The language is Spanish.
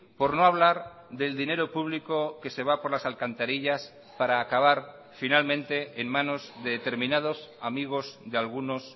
por no hablar del dinero público que se va por las alcantarillas para acabar finalmente en manos de determinados amigos de algunos